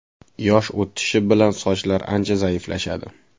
Yosh o‘tishi bilan sochlar ancha zaiflashadi.